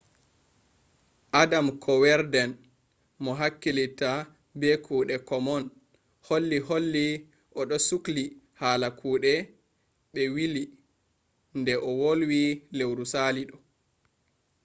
adam kuwerden mo hakkilitta be kuɗe komon holli holli o ɗo sukli hala kuɗe ɓe wili nde o wolwi lewru sali ɗoh